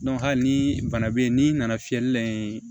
hali ni bana bɛ yen n'i nana fiyɛli la yen